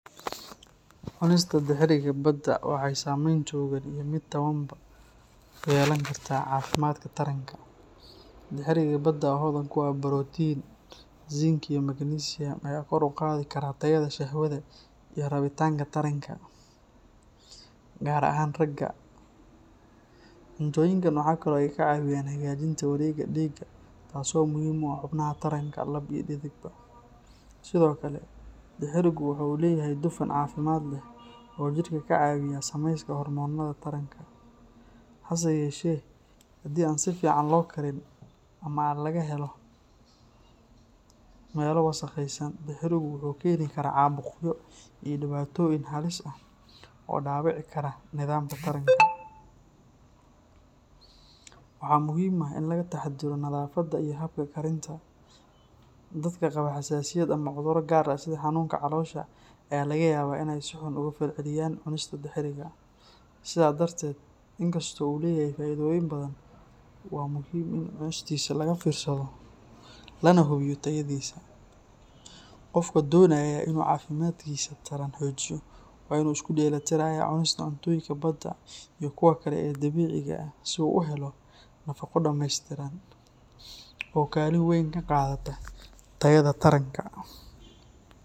Cunista dixiriga badda waxay saameyn togan iyo mid tabanba ku yeelan kartaa caafimaadka taranka. Dixiriga badda oo hodan ku ah borotiin, zinc iyo magnesium ayaa kor u qaadi kara tayada shahwada iyo rabitaanka taranka, gaar ahaan ragga. Cuntooyinkan waxa kale oo ay caawiyaan hagaajinta wareegga dhiigga taas oo muhiim u ah xubnaha taranka lab iyo dhedigba. Sidoo kale, dixirigu waxa uu leeyahay dufan caafimaad leh oo jirka ka caawiya samayska hoormoonnada taranka. Hase yeeshee, haddii aan si fiican loo karin ama laga helo meelo wasakhaysan, dixirigu wuxuu keeni karaa caabuqyo iyo dhibaatooyin halis ah oo dhaawici kara nidaamka taranka. Waxaa muhiim ah in laga taxadiro nadaafadda iyo habka karinta. Dadka qaba xasaasiyad ama cudurro gaar ah sida xanuunka caloosha ayaa laga yaabaa in ay si xun uga falceliyaan cunista dixiriga. Sidaa darteed, inkastoo uu leeyahay faa’iidooyin badan, waa muhiim in cunistiisa laga fiirsado lana hubiyo tayadiisa. Qofka doonaya in uu caafimaadkiisa taran xoojiyo waa in uu isku dheelli tirayaa cunista cuntooyinka badda iyo kuwa kale ee dabiiciga ah si uu u helo nafaqo dhammeystiran oo kaalin weyn ka qaadata tayada taranka.